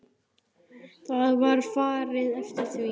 Það var farið eftir því.